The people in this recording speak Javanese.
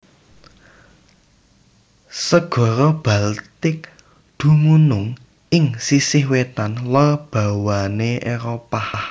Segara Baltik dumunung ing sisih wétan lor bawana Éropah